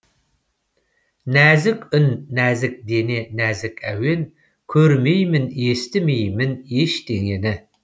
нәзік үн нәзік дене нәзік әуен көрмеймін естімеймін ештеңені